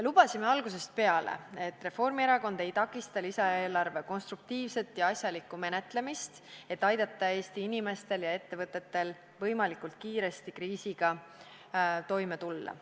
Lubasime algusest peale, et Reformierakond ei takista lisaeelarve konstruktiivset ja asjalikku menetlemist, et aidata Eesti inimestel ja ettevõtetel võimalikult kiiresti kriisiga toime tulla.